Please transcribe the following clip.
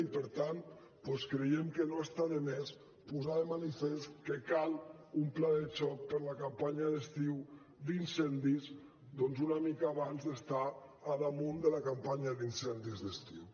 i per tant doncs creiem que no està de més posar de manifest que cal un pla de xoc per a la campanya d’estiu d’incendis una mica abans d’estar a sobre de la campanya d’incendis d’estiu